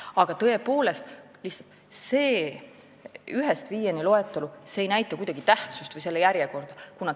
Aga tõepoolest, see ühest viieni loetelu ei näita kuidagi tähtsust või järjekorda.